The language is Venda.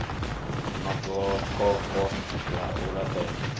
na gokoko ḽa u laṱela